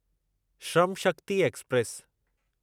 Shram Shakti express